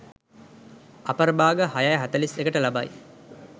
අපර භාග 06.41 ට ලබයි.